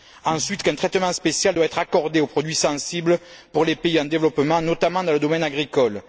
Ensuite, un traitement spécial doit être accordé aux produits sensibles pour les pays en développement, notamment dans le domaine agricole.